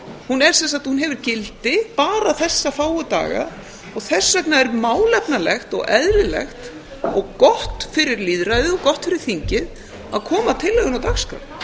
hún hefur gildi bara þessa fáu daga og þess vegna er málefnalegt og eðlilegt og gott fyrir lýðræðið og gott fyrir þingið að koma tillögunni á dagskrá